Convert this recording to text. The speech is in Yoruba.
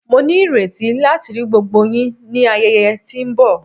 Mo nireti lati ri gbogbo yin ni ayẹyẹ ti nbọ